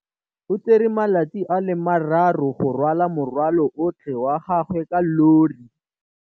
O tsere malatsi a le marraro go rwala morwalo otlhe wa gagwe ka llori.